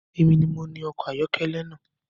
Èmi ni mo ni ọkọ̀ ayọ́kẹ́lẹ́ na